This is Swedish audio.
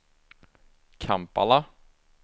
Kampala